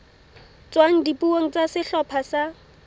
tswang dipuong tsa sehlopha sa